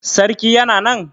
Sarki Yana nan?